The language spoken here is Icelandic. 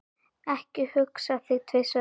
Ekki hugsa þig tvisvar um.